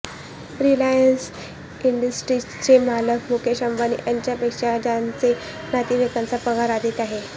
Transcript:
Reliance इंडस्ट्रीजचे मालक मुकेश अंबानी यांच्यापेक्षा त्यांच्या नातेवाईकांचा पगार अधिक आहे